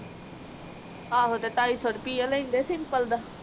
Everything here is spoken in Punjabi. ਆਹ ਤੇ ਟਾਈ ਸੋ ਰੁਪਈਆ ਲੈਂਦੇ ਸਿੰਪਲ ਦਾ